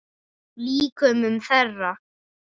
Líkömum þeirra.